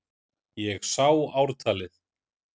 Ég sá ártalið!